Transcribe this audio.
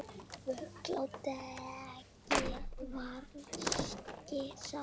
Völl á degi vaskir slá.